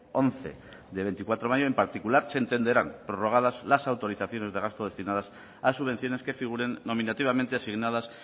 once de veinticuatro de mayo en particular se entenderán prorrogadas las autorizaciones de gasto destinadas a subvenciones que figuren nominativamente asignada